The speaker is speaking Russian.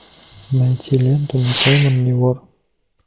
найти ленту не пойман не вор